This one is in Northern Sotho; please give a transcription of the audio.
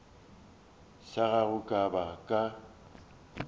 sa gago ka ba ka